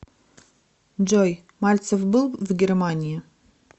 джой мальцев был в германии